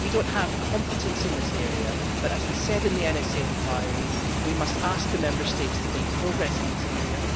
We do not have competence in this area but, as we said in the NSA inquiry, we must ask the Member States to make progress in this area.